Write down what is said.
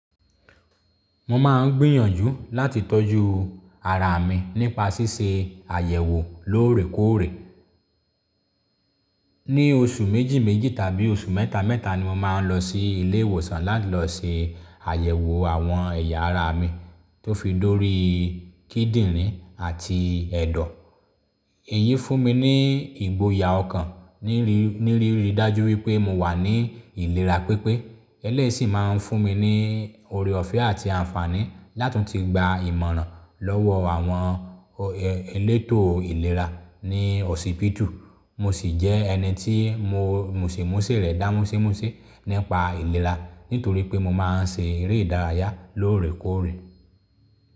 Mo máa ń gbìyànjú láti tọ́jú ara mi nípa ṣíṣe àyẹ̀wò lóòrèkóòrè. Ni oṣù méjì méjì tàbí oṣù mẹ́ta mẹ́ta ni mo máa ń lọ sí ilé ìwòsàn láti lọ se àyẹ̀wò àwọn ẹ̀yà ara mi tó fi dórí kíndìnrín àti ẹ̀dọ̀. Èyí fún mi ní ìgboyà ọkàn ní rí ní rí rí dájú wípé mo wà ní ìlera pípé. Eléyìí ṣìn máa ń fún mi ní ore ọ̀fẹ́ àti àǹfààní lá tún ti gba ìmọ̀ràn lọ́wọ́ àwọn elétò ìlera ní hospitulu. Mo sì jẹ́ ẹni tí muse musè rẹ̀ dá musémusé nípa ìlera nítorí pé mo máa ń ṣe eré ìdárayá lóòrèkóòrè.